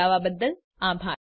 જોડાવાબદ્દલ આભાર